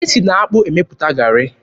E si n'akpụ emepụta garị.